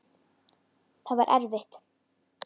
Það var erfitt.